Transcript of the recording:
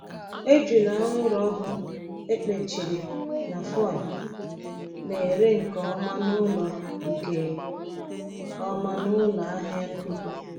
Ejula anwụrụ ọkụ e kechiri na foil na-ere nke ọma n'ụlọ nke ọma n'ụlọ ahịa nnukwu.